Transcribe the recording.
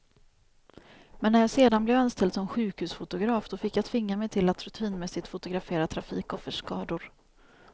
Men när jag sedan blev anställd som sjukhusfotograf, då fick jag tvinga mig till att rutinmässigt fotografera trafikoffers skador.